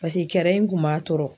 pase kɛrɛ in kun b'a tɔɔrɔ